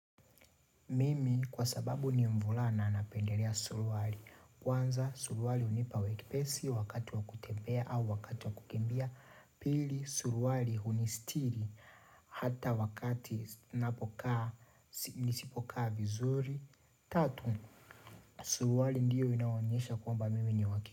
Mimi kwa sababu ni mvulana napendelea suruali. Kwanza, suruali hunipa wepesi wakati wa kutembea au wakati wa kukimbia. Pili, suruali hunisitiri hata wakati napokaa nisipokaa vizuri. Tatu, suruali ndiyo inayoonyesha kwamba mimi ni wakili.